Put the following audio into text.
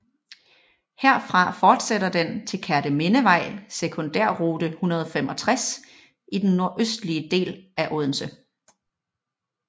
Herfra fortsætter den til Kertemindevej Sekundærrute 165 i den nordøstlige del af Odense